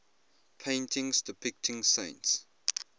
paintings depicting saints